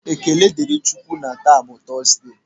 Ekele dịrị Chị Ukwu na taa bụ Tọọsde.